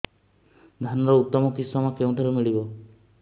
ଧାନର ଉତ୍ତମ କିଶମ କେଉଁଠାରୁ ମିଳିବ